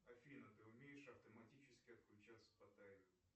афина ты умеешь автоматически отключаться по таймеру